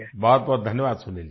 बहुत बहुत धन्यवाद सुनील जी